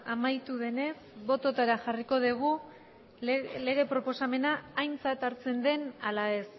amaitu denez botoetara jarriko dugu lege proposamena aintzat hartzen den ala ez